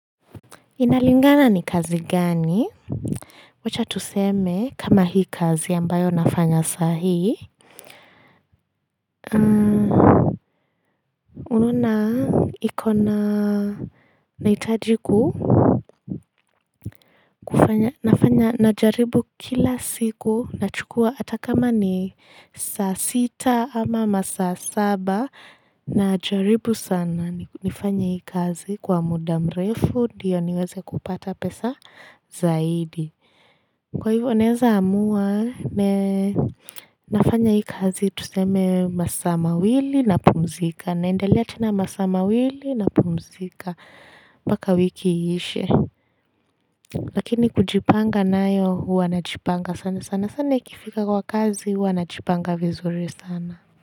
Inalingana ni kazi gani wacha tuseme kama hii kazi ambayo nafanya sahii unaona ikona nahitaji ku nafanya najaribu kila siku nachukua hata kama ni saa sita ama masaa saba najaribu sana nifanye hii kazi kwa muda mrefu ndiyo niweze kupata pesa zaidi Kwa hivyo naweza amua nafanya hii kazi tuseme masaa mawili napumzika. Naendelea tena masaa mawili napumzika. Mpaka wiki iishe. Lakini kujipanga nayo huwa najipanga sana sana. Sana ikifika kwa kazi huwanajipanga vizuri sana.